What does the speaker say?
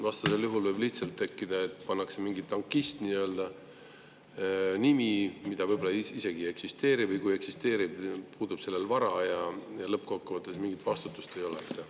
Vastasel juhul võib lihtsalt tekkida, et pannakse selleks mingi nii-öelda tankist,, mida võib-olla isegi ei eksisteeri või kui eksisteerib, siis puudub sellel vara, ja lõppkokkuvõttes mingit vastutust ei ole.